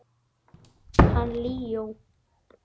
Hann Leó?